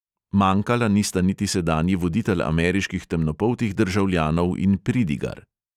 Manjkala nista niti sedanji voditelj ameriških temnopoltih državljanov in pridigar.